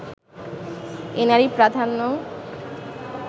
এ নারী-প্রাধান্য